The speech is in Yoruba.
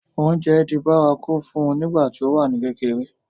oúnjẹ di bárakú fún un nígbà tí ó wà ní kékeré